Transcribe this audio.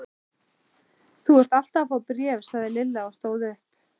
Þú ert alltaf að fá bréf sagði Lilla og stóð upp.